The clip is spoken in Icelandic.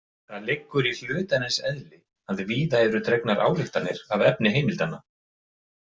Það liggur í hlutarins eðli að víða eru dregnar ályktanir af efni heimildanna.